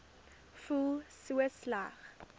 voel so sleg